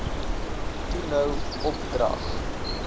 toe nou opdrag